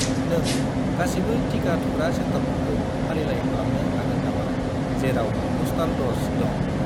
नों गासिबो टिका थुग्रा सेन्टारफोरखौ फारिलाइ खालामनो हागोन नामा जेराव बुस्टार द'ज दं?